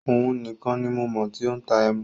Ọún ní kàn ni mo mọ tí o n tà ẹ̀mú